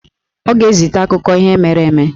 Ọ ga-ezita akụkọ ihe mere eme